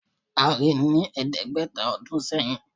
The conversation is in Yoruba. A rí i ní ẹ̀ẹ́dẹ́gbẹ̀ta ọdún sẹ́yìn